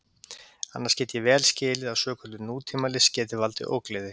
Annars get ég vel skilið að svokölluð nútímalist geti valdið ógleði.